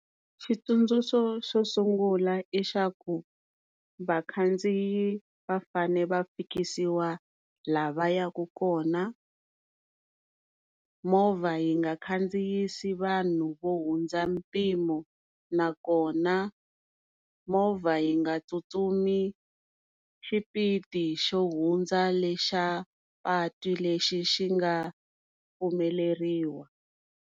Xitsundzuxo xo sungula i xa ku, vakhandziyi va fane va fikisiwa laha va ya ku kona, movha yi nga khandziyisa vanhu vo hundza mpimo nakona movha yi nga tsutsumi xipidi xo hundza lexa patu lexi xi nga pfumeleriwa.